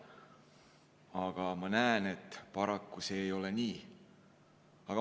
Aga ma näen, et paraku see ei ole nii.